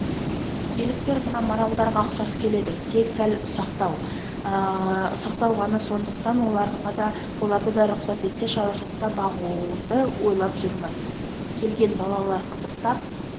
еліктер мына маралдарға ұқсас келеді тек сәл ұсақтау ғана сондықтан оларды да рұқсат етсе шаруашылықта бағуды ойлап жүрмін келген балалар қызықтап